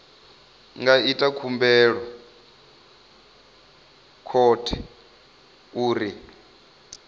nga ita khumbelo khothe uri